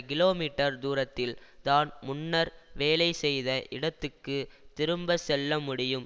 kilometre தூரத்தில் தான் முன்னர் வேலை செய்த இடத்துக்கு திரும்ப செல்ல முடியும்